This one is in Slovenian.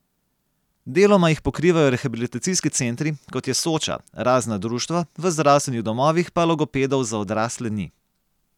Deloma jih pokrivajo rehabilitacijski centri, kot je Soča, razna društva, v zdravstvenih domovih pa logopedov za odrasle ni.